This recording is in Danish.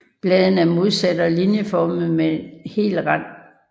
Bladene er modsatte og linjeformede med hel rand